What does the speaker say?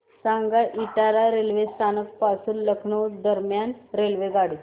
सांगा इटावा रेल्वे स्थानक पासून लखनौ दरम्यान रेल्वेगाडी